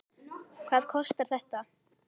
Hvað kostar þetta?